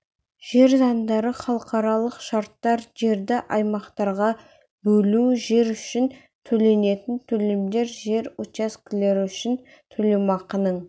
жер заңдары халықаралық шарттар жерді аймақтарға бөлу жер үшін төленетін төлемдер жер учаскелері үшін төлемақының